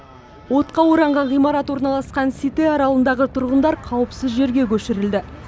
отқа оранған ғимарат орналасқан сите аралындағы тұрғындар қауіпсіз жерге көшірілді